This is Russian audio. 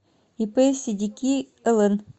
ип седики лн